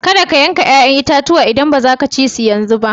Kadda ka yanka yayan itatuwan idan baza ka ci shi yanzu ba